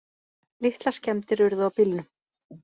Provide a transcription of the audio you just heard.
Litlar skemmdir urðu á bílnum